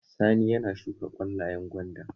Sani yana shuka ƙwallayen gwanda